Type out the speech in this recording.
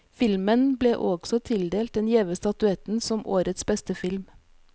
Filmen ble også tildelt den gjeve statuetten som årets beste film.